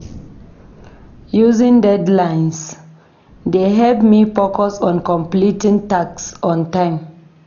Using deadlines dey help me focus on completing tasks on time.